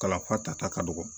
Kalafa tata ka dɔgɔ